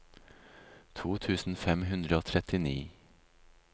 to tusen fem hundre og trettini